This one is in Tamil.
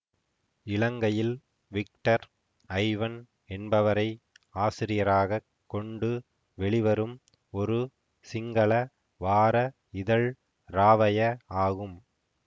இலங்கையில் விக்டர் ஐவன் என்பவரை ஆசிரியராகக் கொண்டு வெளிவரும் ஒரு சிங்கள வார இதழ் ராவய ஆகும்